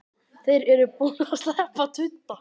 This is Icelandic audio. Þeir eru búnir að sleppa tudda!